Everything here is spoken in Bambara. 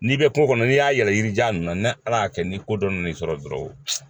N'i bɛ kungo kɔnɔ n'i y'a yɛlɛ yirijan ninnu na ni Ala kɛ ni ko dɔ nana sɔrɔ dɔrɔn